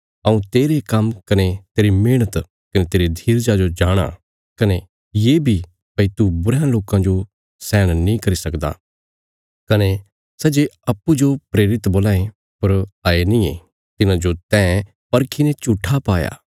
हऊँ तेरे काम्म कने तेरी मेहणत कने तेरे धीरजा जो जाणाँ कने ये बी भई तू बुरयां लोकां जो सैहण नीं करी सकदा कने सै जे अप्पूँजो प्रेरित बोलां ये पर हये नींये तिन्हांजो तैं परखीने झूट्ठा पाया